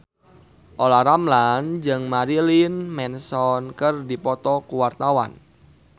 Olla Ramlan jeung Marilyn Manson keur dipoto ku wartawan